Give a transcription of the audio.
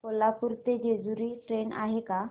कोल्हापूर ते जेजुरी ट्रेन आहे का